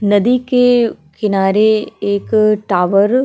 नदी के किनारे एक टावर --